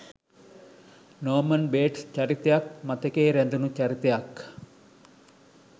නෝමන් Bates චරිතයත් මතකයේ රැඳුනු චරිතයක්.